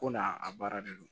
Ko n'a a baara de don